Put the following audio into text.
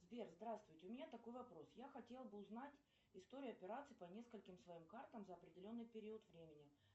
сбер здравствуйте у меня такой вопрос я хотела бы узнать историю операций по нескольким своим картам за определенный период времени